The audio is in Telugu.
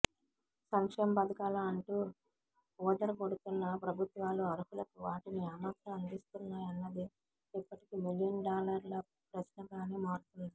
సంక్షేమ పథకాలు అంటూ ఊదరగొడుతున్న ప్రభుత్వాలు అర్హులకు వాటిని ఏమాత్రం అందిస్తున్నాయన్నది ఇప్పటికీ మిలియన్ డాలర్ల ప్రశ్నగానే మారుతోంది